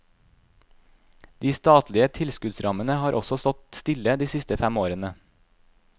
De statlige tilskuddsrammene har også stått stille de siste fem årene.